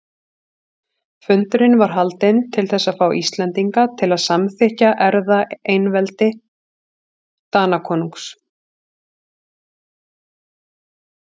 Fundurinn var haldinn til þess að fá Íslendinga til að samþykkja erfðaeinveldi Danakonungs.